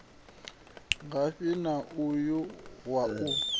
ngafhi na uyu wa u